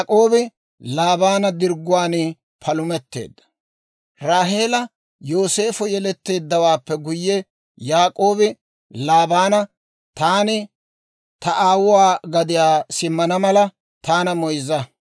Raaheela Yooseefa yeleeddawaappe guyye, Yaak'oobi Laabaana, «Taani ta aawuwaa gadiyaa simmana mala, taana moyzza.